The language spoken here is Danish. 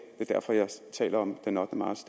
er derfor jeg taler om den ottende marts